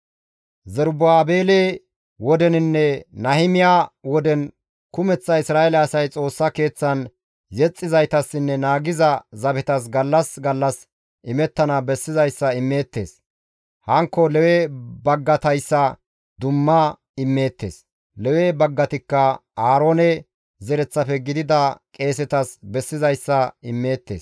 Zerubaabele wodeninne Nahimiya woden kumeththa Isra7eele asay Xoossa Keeththan yexxizaytassinne naagiza zabetas gallas gallas imettana bessizayssa immeettes; hankko Lewe baggatayssa dumma immeettes; Lewe baggatikka Aaroone zereththafe gidida qeesetas bessizayssa immeettes.